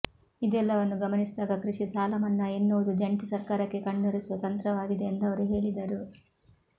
ಇದೆಲ್ಲವನ್ನು ಗಮನಿಸಿದಾಗ ಕೃಷಿ ಸಾಲಮನ್ನಾ ಎನ್ನುವುದು ಜಂಟಿ ಸರ್ಕಾರಕ್ಕೆ ಕಣ್ಣೊರೆಸುವ ತಂತ್ರವಾಗಿದೆ ಎಂದವರು ಹೇಳಿದರು